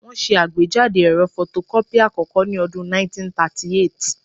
Wọ́n ṣe àgbéjáde ẹ̀rọ fotokọ́pì àkọ́kọ́ ní ọdún 1938